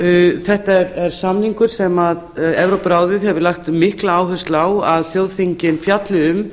fimm þetta er samningur sem evrópuráðið hefur lagt mikla áherslu á að þjóðþingin fjalli um